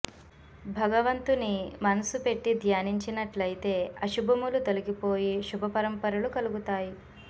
భగవంతుని మనస్సు పెట్టి ధ్యానించినట్లయితే అశుభములు తొలగిపోయి శుభ పరంపరలు కలుగుతాయి